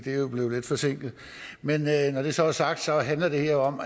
er jo blevet lidt forsinket men når det så er sagt handler det her om